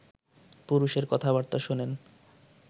পুরুষের কথা বার্তা শোনেন